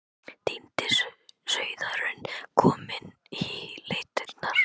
Týndi sauðurinn kominn í leitirnar.